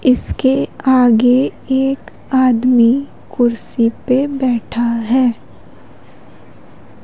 इसके आगे एक आदमी कुर्सी पे बैठा है।